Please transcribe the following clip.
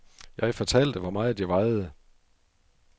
Jeg fortalte, hvor meget jeg vejede.